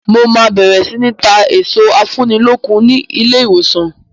Mo máa bẹ̀rẹ̀ sini ta èso afúnilókun ni ilé ìwòsàn.